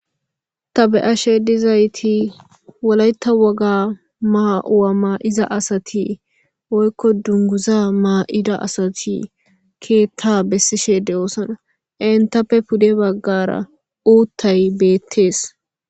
Ta be'ashe dizaytti wolaytta wogga ma'o ma'iza asati woykko dunguza ma'ida asati keetta besishe de'iossonna enttappe pudde baggara uuttay beettes